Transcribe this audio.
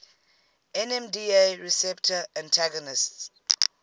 nmda receptor antagonists